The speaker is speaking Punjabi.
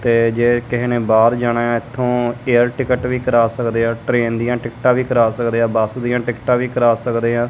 ਤੇ ਜੇ ਕਿਸੇ ਨੇ ਬਾਹਰ ਜਾਣਾ ਇਥੋਂ ਏਅਰ ਟਿਕਟ ਵੀ ਕਰਾ ਸਕਦੇ ਆ ਟਰੇਨ ਦੀਆਂ ਟਿਕਟਾਂ ਵੀ ਕਰਾ ਸਕਦੇ ਆ ਬੱਸ ਦੀਆਂ ਟਿਕਟਾਂ ਵੀ ਕਰਾ ਸਕਦੇ ਆ।